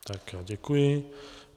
Tak ano, děkuji.